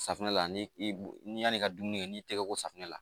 Safunɛ la ani yani i ka dumuni n'i tɛgɛ ko safunɛ la